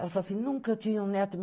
Ela falou assim, nunca eu tinha um neto.